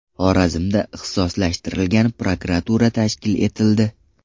Xorazmda ixtisoslashtirilgan prokuratura tashkil etildi.